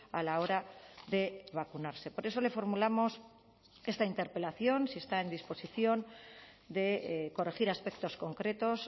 a la hora de vacunarse por eso le formulamos esta interpelación si está en disposición de corregir aspectos concretos